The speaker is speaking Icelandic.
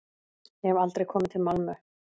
Ég hef aldrei komið til Malmö.